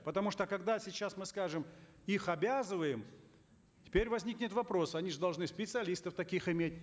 потому что когда сейчас мы скажем их обязываем теперь возникнет вопрос они же должны специалистов таких иметь